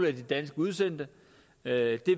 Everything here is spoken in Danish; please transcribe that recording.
af de danske udsendte det er et